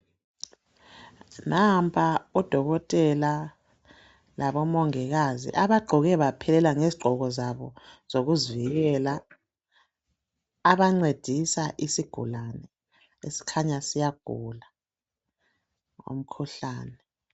Nampa odokotela labo mongikazi abaqoke baphelela ngeziqoko zabo zokuzivikela abancedisa isigulane esikhanya siyagula umkhuhlane.